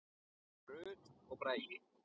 Rut og Bragi.